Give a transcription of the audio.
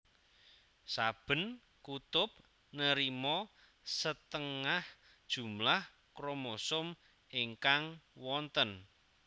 Saben kutub nerima setengan jumlah kromosom ingkang wonten